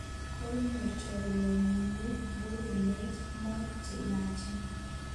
Konyor chorwenyi ne murenet mook che yaachen